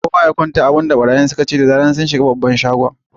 Kowa ya kwanta! abin da barayin sun ce da zara sun shiga babban shagon kenan.